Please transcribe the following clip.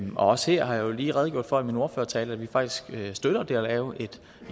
også her har jeg jo lige redegjort for i min ordførertale at vi faktisk støtter det at lave et